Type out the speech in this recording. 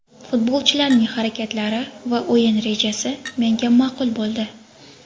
Futbolchilarning harakatlari va o‘yin rejasi menga ma’qul bo‘ldi.